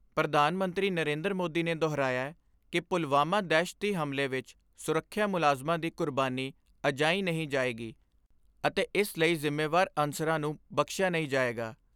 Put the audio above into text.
ਪ੍ਰਧਾਨ ਮੰਤਰੀ ਨਰੇਂਦਰ ਮੋਦੀ ਨੇ ਦੁਹਰਾਇਐ ਕਿ ਪੁਲਵਾਮਾ ਦਹਿਸ਼ਤੀ ਹਮਲੇ ਵਿਚ ਸੁਰੱਖਿਆ ਮੁਲਾਜ਼ਮਾਂ ਦੀ ਕੁਰਬਾਨੀ ਅਜਾਈਂ ਨਹੀਂ ਜਾਏਗੀ ਅਤੇ ਇਸ ਲਈ ਜਿੰਮੇਵਾਰ ਅਨਸਰਾਂ ਨੂੰ ਬਖਸ਼ਿਆ ਨਹੀਂ ਜਾਏਗਾ।